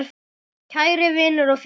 Kæri vinur og félagi.